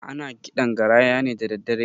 Ana kiɗan garaya ne dadaddare